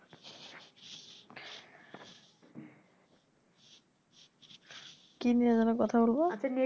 কি নিয়ে যেন কথা বলবো